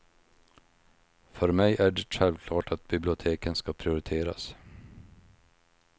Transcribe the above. För mig är det självklart att biblioteken ska prioriteras.